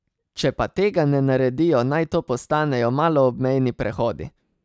Če pa tega ne naredijo, naj to postanejo maloobmejni prehodi.